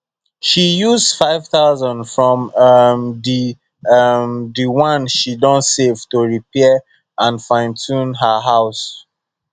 she use 5000 from um the um the one she don save to repair and finetune her house